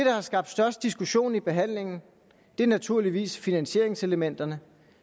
har skabt størst diskussion i behandlingen er naturligvis finansieringselementerne